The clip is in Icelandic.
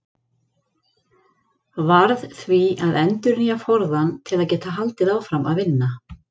Varð því að endurnýja forðann til að geta haldið áfram að vinna.